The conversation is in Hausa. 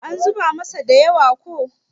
an zuba masa da yawa ko?